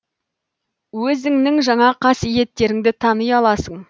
өзіңнің жаңа қасиеттеріңді тани аласың